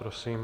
Prosím.